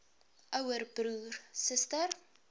ouer broer suster